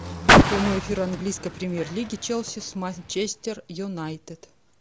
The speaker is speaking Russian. прямой эфир английской премьер лиги челси с манчестер юнайтед